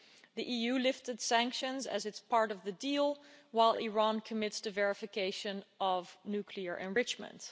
The EU lifted sanctions as it's part of the deal, while Iran commits to verification of nuclear enrichment.